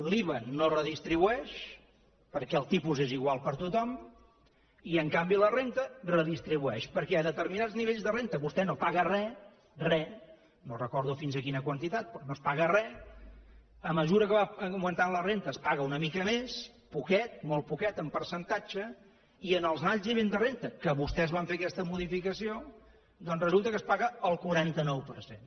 l’iva no redistribueix perquè el tipus és igual per a tothom i en canvi la renda redistribueix perquè a determinats nivells de renda vostè no paga res res no recordo fins a quina quantitat però no es paga res a mesura que va augmentat la renda es paga una mica més poquet molt poquet en percentatge i en els alts nivells de renda que vostès van fer aquesta modificació doncs resulta que es paga el quaranta nou per cent